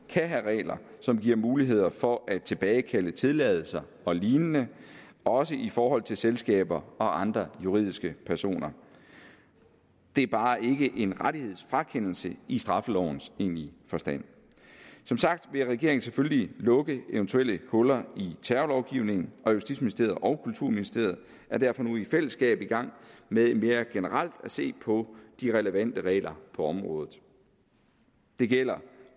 kan have regler som giver muligheder for at tilbagekalde tilladelser og lignende også i forhold til selskaber og andre juridiske personer det er bare ikke en rettighedsfrakendelse i straffelovens egentlige forstand som sagt vil regeringen selvfølgelig lukke eventuelle huller i terrorlovgivningen og justitsministeriet og kulturministeriet er derfor nu i fællesskab i gang med mere generelt at se på de relevante regler på området det gælder